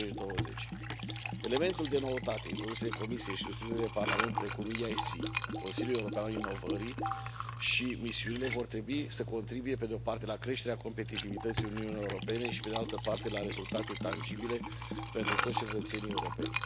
2020. Elementele de noutate introduse de Comisie și susținute de Parlament, precum EIC, Consiliul european pentru inovare, și misiunile vor trebui să contribuie, pe de o parte, la creșterea competitivității Uniunii Europene și, pe de altă parte, la rezultate tangibile pentru toți cetățenii europeni.